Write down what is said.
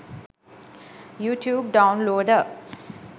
youtube downloader